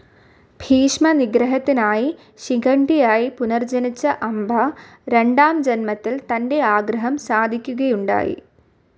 ഭീഷ്മ നിഗ്രഹത്തിനായി ശിഖണ്ഡിയായി പുനർജ്ജനിച്ച അംബ രണ്ടാം ജന്മത്തിൽ തൻ്റെ ആഗ്രഹം സാധിക്കുകയുണ്ടായി